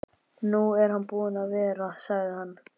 Nú er hann búinn að vera, sagði hann.